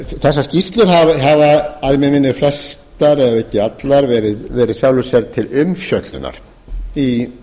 þessar skýrslur hafa að mig minnir flestar ef ekki allar verið í sjálfu sér til umfjöllunar í